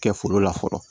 Kɛ foro la fɔlɔ